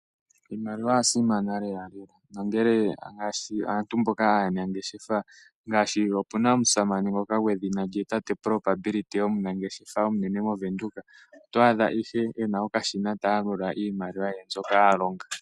Iimaliwa oya simana lela nongele aantu mboka aanangeshefa ngaashi opu na omusamane ngoka gwedhina tate Propability omunangeshefa omunene mOvenduka. Oto adha ihe ena okashina ta yalula iimaliwa ye mbyoka a longa.